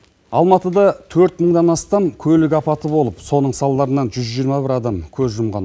алматыда төрт мыңнан астам көлік апаты болып соның салдарынан жүз жиырма бір адам көз жұмған